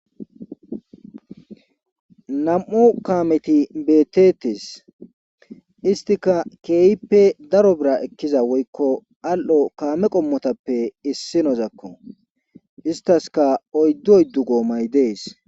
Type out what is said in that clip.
Issi bessan qoodan keehi cora gidida maabirate shubey ichi xaaxeti xaaxeti uttidayssa gidishin izafe issi baggara qasse maabirate mithana eqqi uttides